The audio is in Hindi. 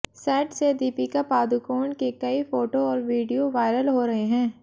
सेट से दीपिका पादुकोण के कई फोटो और वीडियो वायरल हो रहे हैं